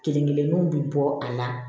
Kelen kelennuw bi bɔ a la